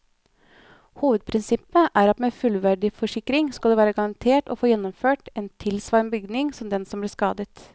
Hovedprinsippet er at med en fullverdiforsikring skal du være garantert å få gjenoppført en tilsvarende bygning som den som ble skadet.